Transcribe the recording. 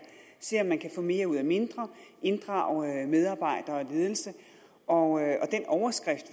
se om man kan få mere ud af mindre inddrage medarbejdere og ledelse og den overskrift